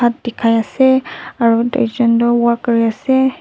hat dekhai ase aru duijon toh work kuri ase.